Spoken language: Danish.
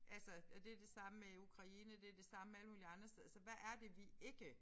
Altså og det det samme med Ukraine det det samme med alle mulige andre steder altså hvad er det vi ikke